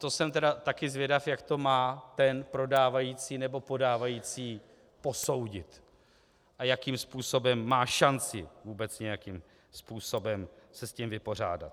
To jsem tedy taky zvědav, jak to má ten prodávající nebo podávající posoudit a jakým způsobem má šanci vůbec nějakým způsobem se s tím vypořádat.